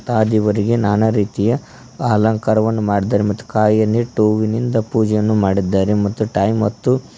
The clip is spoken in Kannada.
ಅ ದೇವರಿಗೆ ನಾನಾ ರೀತಿಯ ಅಲಂಕಾರವನ್ನು ಮಾಡಿದ್ದಾರೆ ಮತ್ತು ಕಾಯನ್ನು ಇಟ್ಟು ಹೂವಿನಿಂದ ಪೂಜೆಯನ್ನು ಮಾಡಿದ್ದಾರೆ ಮತ್ತು ಟೈಮ್ ಮತ್ತು --